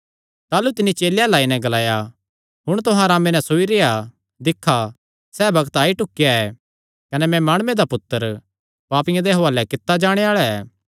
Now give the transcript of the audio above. ताह़लू तिन्नी चेलेयां अल्ल आई नैं ग्लाया हुण तुहां अरामे नैं सोई रेह्आ दिक्खा सैह़ बग्त आई ढुकेया ऐ कने मैं माणुये दा पुत्तर पापियां दे हुआलैं कित्ता जाणे आल़ा ऐ